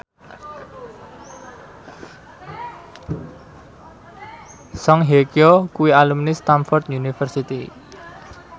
Song Hye Kyo kuwi alumni Stamford University